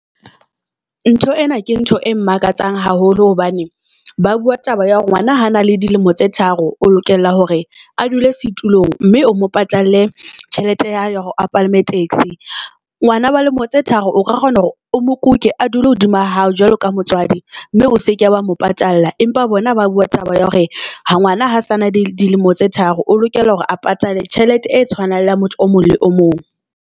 Ntho ena ke ntho e mmakatsang haholo hobane ba bua taba ya hore ngwana ha na le dilemo tse tharo, o lokela hore a dule setulong. Mme o mo patalle tjhelete ya hae ya hore a palame taxi. Ngwana wa lemo tse tharo o ka kgona hore o mo kuke, a dule hodima hao jwalo ka motswadi mme o seke wa mo patalla. Empa bona ba bua taba ya hore ha ngwana ha sana dilemo tse tharo o lokela hore a patale tjhelete e tshwanang leya motho o mong le o mong.